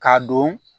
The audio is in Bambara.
K'a don